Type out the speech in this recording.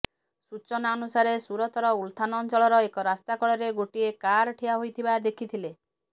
ସୂଚନା ଅନୁସାରେ ସୁରତର ଉଲଥାନ ଅଞ୍ଚଳର ଏକ ରାସ୍ତା କଡରେ ଗୋଟିଏ କାର ଠିଆ ହୋଇଥିବା ଦେଖିଥିଲେ